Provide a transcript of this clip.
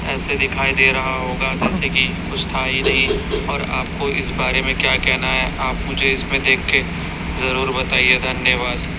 ऐसे दिखाई दे रहा होगा जैसे कि कुछ था ही नहीं और आपको इस बारे में क्या केहना है आप मुझे इसमें देख के जरूर बताइए धन्यवाद।